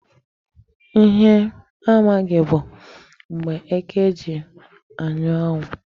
Ihe m amaghị bụ mgbe eke ji anya anwụ.